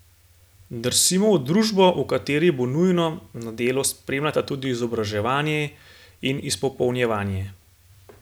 Drsimo v družbo, v kateri bo nujno, da delo spremljata tudi izobraževanje in izpopolnjevanje.